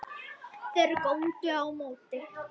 Þeir góndu á móti.